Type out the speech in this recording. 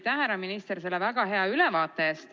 Aitäh, härra minister, selle väga hea ülevaate eest!